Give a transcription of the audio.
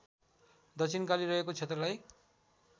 दक्षिणकाली रहेको क्षेत्रलाई